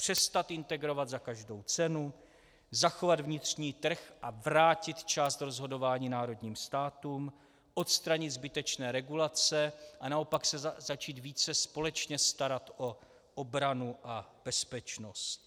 Přestat integrovat za každou cenu, zachovat vnitřní trh a vrátit část rozhodování národním státům, odstranit zbytečné regulace a naopak se začít více společně starat o obranu a bezpečnost.